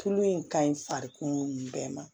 Tulu in ka ɲi farikolo bɛɛ ma